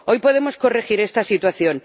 Hoy podemos corregir esta situación.